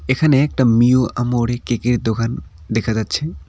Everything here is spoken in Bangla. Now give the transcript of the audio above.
এখানে একটা মিও আমোরে কেক -এর দোকান দেখা যাচ্ছে।